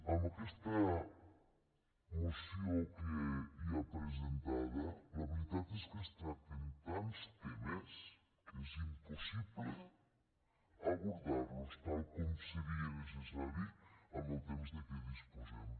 en aquesta moció que hi ha presentada la veritat és que es tracten tants temes que és impossible abordar·los tal com seria necessari amb el temps de què dispo·sem